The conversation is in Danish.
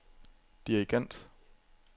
dirigent